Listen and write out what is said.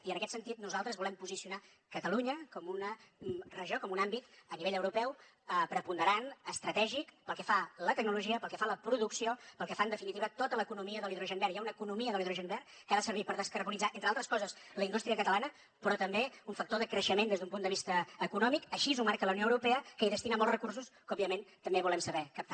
i en aquest sentit nosaltres volem posicionar catalunya com una regió com un àmbit a nivell europeu preponderant estratègic pel que fa a la tecnologia pel que fa a la producció pel que fa en definitiva a tota l’economia de l’hidrogen verd hi ha una economia de l’hidrogen verd que ha de servir per descarbonitzar entre altres coses la indústria catalana però també un factor de creixement des d’un punt de vista econòmic així ho marca la unió europea que hi destina molts recursos que òbviament també volem saber captar